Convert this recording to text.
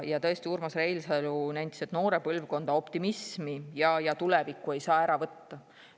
Ja tõesti, Urmas Reinsalu nentis, et noore põlvkonna optimismi ja tulevikku ei saa ära võtta.